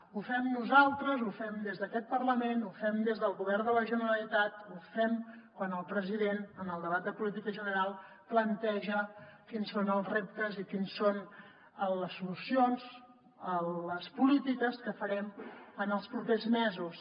ho fem nosaltres ho fem des d’aquest parlament ho fem des del govern de la generalitat ho fem quan el president en el debat de política general planteja quins són els reptes i quines són les solucions les polítiques que farem en els propers mesos